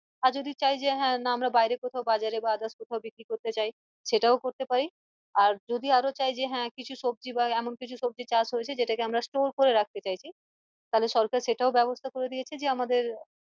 আর যদি চায় যে হ্যাঁ না আমরা বাইরে কোথাও বাজারে বা others কোথাও বিক্রী করতে চাই সেটাও করতে পারি আর যদি আরও চাই যে হ্যাঁ কিছু সবজি বা এমন কিছু সবজি চাষ হয়ছে যেটাকে আমরা store করে রাখতে চাইছি তালে সরকার সেটাও ব্যাবস্থা করে দিয়েছে যে আমাদের